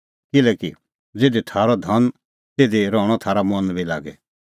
किल्हैकि ज़िधी थारअ धन आसा तिधी रहणअ थारअ मन बी लागी